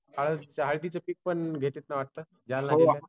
हळद? हळदीचा पीक पन घेतात का वाटत?